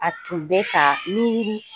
A tun bɛ ka miiri